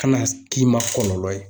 Kana k'i ma kɔlɔlɔ ye.